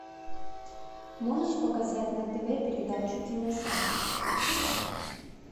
можешь показать на тв передачу киносад